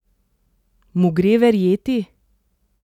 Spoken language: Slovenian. Mu gre verjeti?